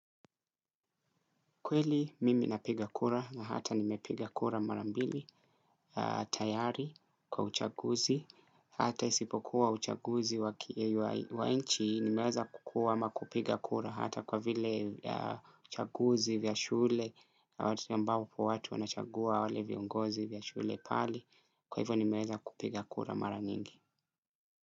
Kweli mimi napiga kura na hata nimepiga kura mara mbili, tayari, kwa uchaguzi, hata isipokuwa uchaguzi wa nchi, nimeweza kukua ama kupiga kura hata kwa vile uchaguzi vya shule, watu ambao watu wanachagua wale viongozi vya shule pale, kwa hivyo nimeweza kupiga kura mara nyingi.